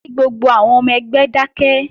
Kí gbogbo àwọn ọmọ ẹgbẹ́ dákẹ́!